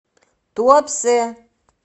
туапсе